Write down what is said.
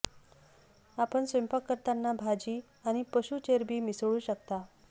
आपण स्वयंपाक करताना भाजी आणि पशू चरबी मिसळू शकता